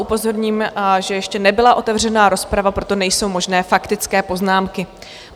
Upozorním, že ještě nebyla otevřena rozprava, proto nejsou možné faktické poznámky.